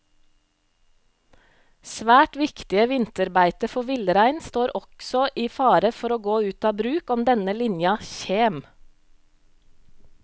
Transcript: Svært viktige vinterbeite for villrein står også i fare for å gå ut av bruk om denne linja kjem.